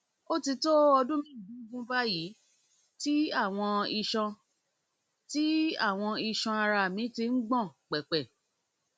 ó ti tó ọdún mẹẹẹdógún báyìí tí àwọn iṣan tí àwọn iṣan ara mi ti ń gbọn pẹpẹ